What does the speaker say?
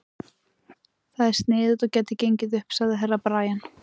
Það er sniðugt og gæti gengið upp, sagði Herra Brian.